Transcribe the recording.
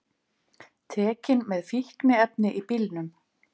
Tekin með fíkniefni í bílnum